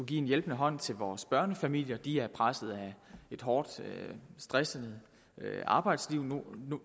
give en hjælpende hånd til vores børnefamilier de er pressede af et hårdt og stressende arbejdsliv hvor